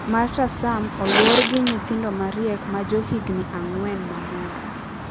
Marta Sam olwor gi nyithindomariek ma johigini ang'wen mamor.